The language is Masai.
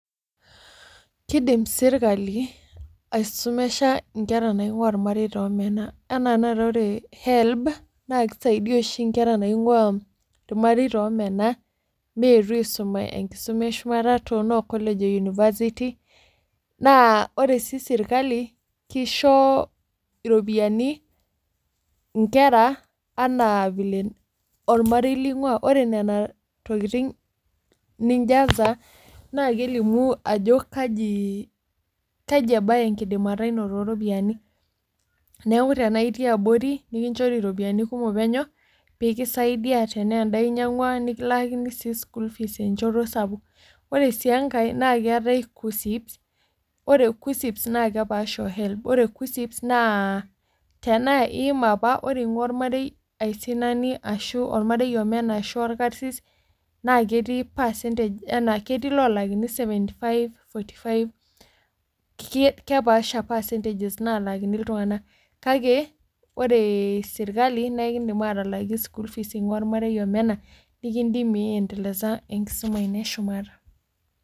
Kidim sirkali aisumisha nkera naing'ua irmareita omena, anaa tenakata ore helb naa kisaidia oshi nkera naing'uaa irmareita omena, meetu aisuma enkisuma eshumata too noo college o university. Ore sii sirkali kisho iropiyiani inkera anaa vile olamarei ling'uaa. Ore nena tokitin ninjaza naa kelimu ajo kaji ebaya enkidimata ino tooropiyiani, neeku tenaa itii abori nikinchori iropiyiani kumok penyo pee kisaidia tenaa endaa inyiang'ua nikilaakini sii school fees enchoto sapuk. Ore sii enkae, naa keetae kuccps ore kuccps naa kepaasha o helb ore kuccps tenaa iima apa ore ing'ua ormarei aisinani ashu ing'ua ormarei omena ashu orkasiis naa ketii percentage ashu ketii iloolakini seventy five, forty five kepaasha percentages naalakini iltunganak. Kake ore sirkali naa ekidim aatalaki school fees ormarei omena nikidimie iiendelesa enkisoma ino eshumata.